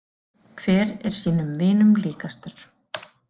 Hver er sínum vinum líkastur.